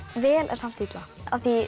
vel en samt illa